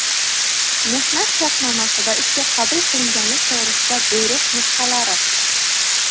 mehnat shartnomasi va ishga qabul qilinganlik to‘g‘risida buyruq nusxalari;.